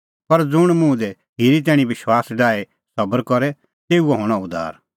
पर ज़ुंण मुंह दी खिरी तैणीं विश्वास डाही सबर करे तेऊओ हणअ उद्धार